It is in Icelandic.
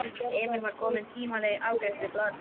Emil var kominn tímanlega í afgreiðslu blaðsins.